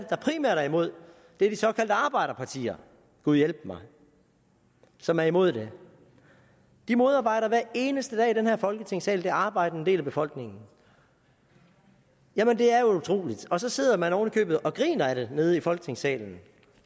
der primært er imod det er de såkaldte arbejderpartier gud hjælpe mig som er imod det de modarbejder hver eneste dag i den her folketingssal den arbejdende del af befolkningen jamen det er utroligt og så sidder man oven i købet og griner af det nede i folketingssalen